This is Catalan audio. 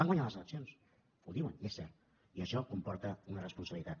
van guanyar les eleccions ho diuen i és cert i això comporta una responsabilitat